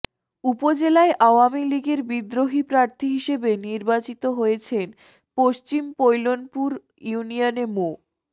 উপজেলায় আওয়ামী লীগের বিদ্রোহী প্রার্থী হিসেবে নির্বাচিত হয়েছেন পশ্চিম পৈলনপুর ইউনিয়নে মো